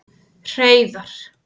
Hreiðar